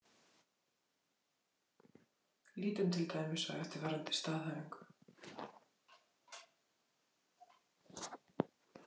Lítum til dæmis á eftirfarandi staðhæfingu